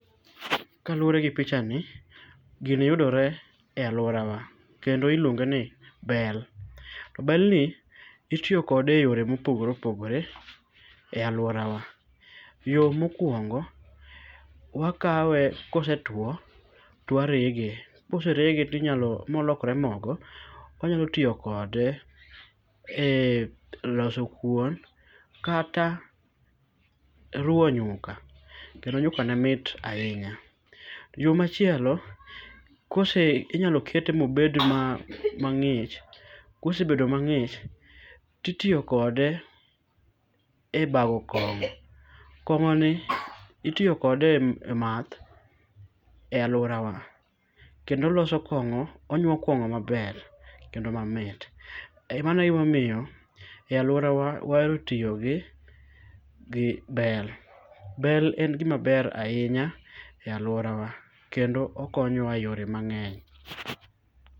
Kaluoregi pichani gini yudore e aluorawa kendo iluongeni bel. To belni itiyo kode eyore mopogore opogore e aluorawa. Yoo mokuongo wakawe kosetuo to warege. Koserege tinyalo molokre mogo, onyalo tiyo kode ee loso kuon kata ruo nyuka. Kendo nyukane mit ainya. Yoo machielo kose inyalo kete mobed ma mang'ich. Kosebedo mang'ich titiyo kode e bago kong'o. Kong'oni itiyo kode emath e aluorawa. Kendo loso kong'o onyuo kong'o maber kendo mamit. Emano egima omiyo e aluorawa waero tiyogi bel. Bel en gima ber ainya e aluorawa. Kendo okonyowa eyore mang'eny.